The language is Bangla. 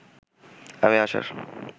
আমি আসার